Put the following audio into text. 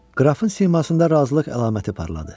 Qrafın simasında razılıq əlaməti parladı.